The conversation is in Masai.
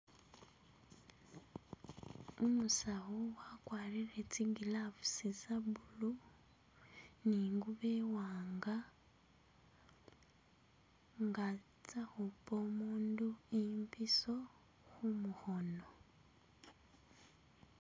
Umusawu wakwarile tsi' gloves tsa' blue ni' ngubo iwanga ngantsa' khupa umundu imbiso khumukhono